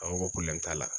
A ko ko t'a la